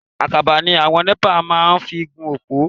Àkàbà ni àwọn NEPA máa ń fi gún òpó.